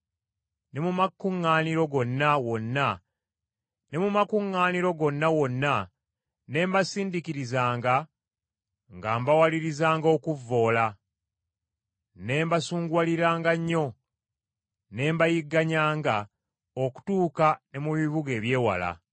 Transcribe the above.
Ne mu makuŋŋaaniro gonna wonna ne mbasindiikirizanga nga mbawalirizanga okuvvoola, ne mbasunguwaliranga nnyo, ne mbayigganyanga okutuuka ne mu bibuga eby’ewala.